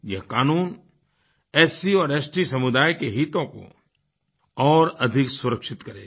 यह कानून एससी और एसटी समुदाय के हितों को और अधिक सुरक्षित करेगा